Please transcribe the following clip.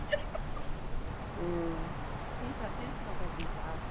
உம் ஜீவிதா சிரிப்பு காட்டாத ஜீவிதா